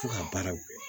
Fo ka baaraw kɛ